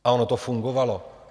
A ono to fungovalo.